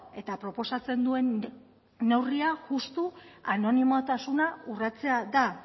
eta proposatzen duen neurria justu anonimotasuna urratzea da